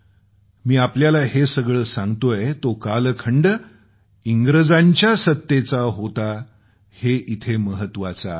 मी आपल्याला हे सगळं सांगतोय तो कालखंड इंग्रजांच्या सत्तेचा होता हे इथं महत्वाचं आहे